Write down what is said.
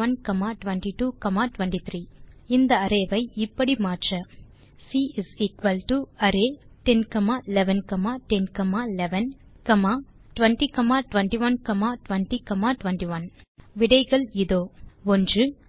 21 22 23 array ஐ மாற்ற C array10 11 10 11 20 21 20 21 விடைகள் இதோ 1